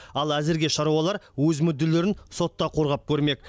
ал әзірге шаруалар өз мүдделерін сотта қорғап көрмек